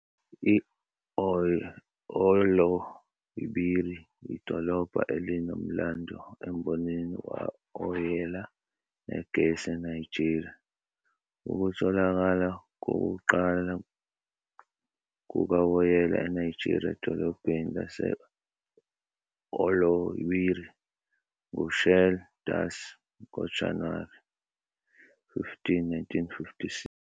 I-Oloibiri yidolobha elinomlando embonini kawoyela negesi eNigeria. Ukutholakala kokuqala kukawoyela eNigeria edolobheni lase-Oloibiri nguShell Darcy ngoJanuwari 15, 1956.